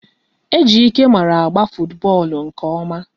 Ejike mara agba futubọọlụ nke ọma